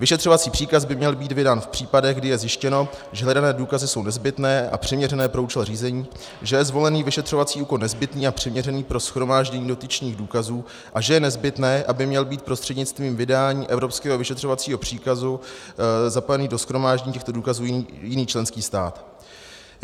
Vyšetřovací příkaz by měl být vydán v případech, kdy je zjištěno, že hledané důkazy jsou nezbytné a přiměřené pro účel řízení, že je zvolený vyšetřovací úkon nezbytný a přiměřený pro shromáždění dotyčných důkazů a že je nezbytné, aby měl být prostřednictvím vydání evropského vyšetřovacího příkazu zapojený do shromáždění těchto důkazů jiný členský stát.